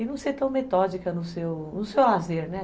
E não ser tão metódica no seu lazer, né?